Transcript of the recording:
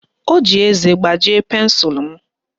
O ji eze gbajie pensụlụ m